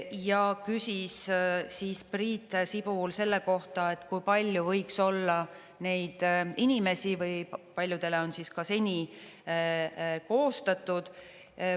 Ja küsis Priit Sibul selle kohta, kui palju võiks olla neid inimesi, või paljudele on siis ka seni koostatud.